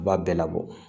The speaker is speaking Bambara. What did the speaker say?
U b'a bɛɛ labɔ